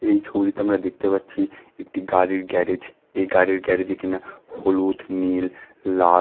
এই ছবিটিতে আমরা দেখতে পাচ্ছি একটি গাড়ির গ্যারেজ এই গাড়ির গ্যারেজ এ কিনা হলুদ নীল লাল--